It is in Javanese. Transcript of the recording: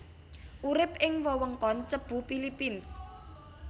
Urip ing wewengkon Cebu Philippines